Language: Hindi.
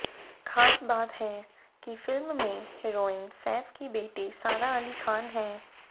खास बात है कि फिल्म में हीरोइन सैफ की बेटी सारा अली खान हैं